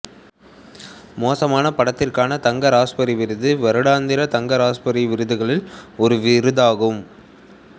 மோசமான படத்திற்கான தங்க ராஸ்பெரி விருது வருடாந்திர தங்க ராஸ்பெரி விருதுகளில் ஒரு விருதாகும்